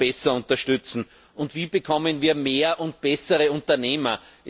besser unterstützen, und wie bekommen wir mehr und bessere Unternehmer?